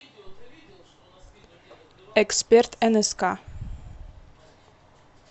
эксперт нск